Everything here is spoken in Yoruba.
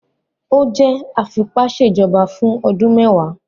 O jẹ afipaṣejọba fun ọdun mẹwa